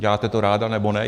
Děláte to ráda, nebo ne?